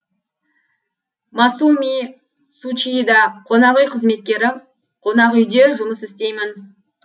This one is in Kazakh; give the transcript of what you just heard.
масуми цучида қонақүй қызметкері қонақүйде жұмыс істеймін